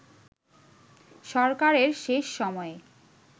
সরকারের শেষ সময়ে